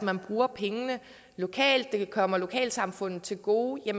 man bruger pengene lokalt og at det kommer lokalsamfundet til gode